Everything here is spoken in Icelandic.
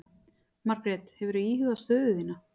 Margrét: Hefurðu íhugað stöðu þína?